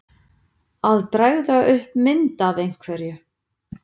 Að bregða upp mynd af einhverju